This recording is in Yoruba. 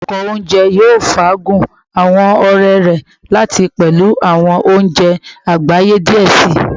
Apakan ounjẹ yoo faagun awọn ọrẹ rẹ lati pẹlu awọn ounjẹ agbaye diẹ sii